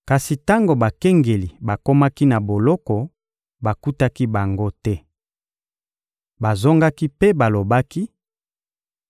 Kasi tango bakengeli bakomaki na boloko, bakutaki bango te. Bazongaki mpe balobaki: